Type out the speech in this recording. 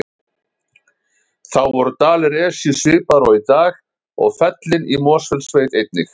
Þá voru dalir Esju svipaðir og í dag og fellin í Mosfellssveit einnig.